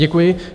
Děkuji.